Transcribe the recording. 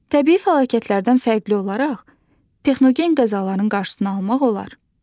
Təbii fəlakətlərdən fərqli olaraq texnogen qəzaların qarşısını almaq olar.